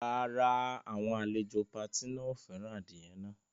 Rárá, àwọn àlejò pati náà ò fẹ́ràn adìyẹ náà.